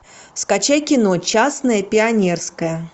скачай кино частное пионерское